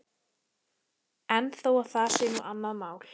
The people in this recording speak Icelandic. En þó að það sé nú annað mál.